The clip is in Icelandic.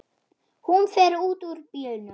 Hún fer út úr bílnum.